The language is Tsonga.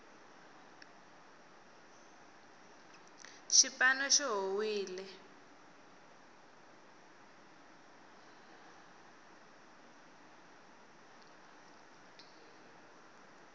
xipano xi howile